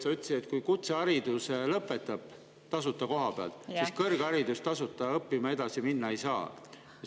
Sa ütlesid, et kui kutsehariduse tasuta koha peal, siis edasi õppima, kõrgharidust omandama tasuta minna ei saa.